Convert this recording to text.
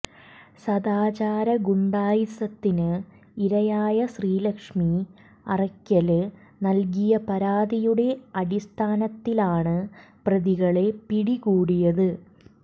സദാചാര ഗുണ്ടായിസത്തിന് ഇരയായ ശ്രീലക്ഷ്മി അറക്കല് നല്കിയ പരാതിയുടെ അടിസ്ഥാനത്തിലാണ് പ്രതികളെ പിടികൂടിയത്